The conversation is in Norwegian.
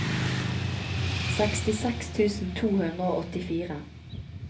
sekstiseks tusen to hundre og åttifire